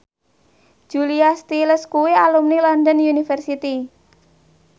Julia Stiles kuwi alumni London University